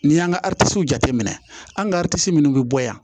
N'i y'an ka jateminɛ an ka minnu bɛ bɔ yan